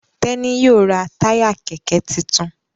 Teni yíò rá Táyà kẹkẹ títún.